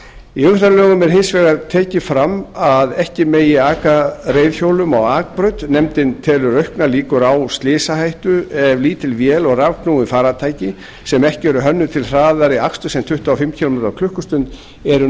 í umferðarlögum er hins vegar tekið fram að ekki megi aka reiðhjólum á akbraut nefndin telur auknar líkur á slysahættu ef lítil vél og rafknúin farartæki sem ekki eru hönnuð til hraðari aksturs en tuttugu og fimm kílómetra á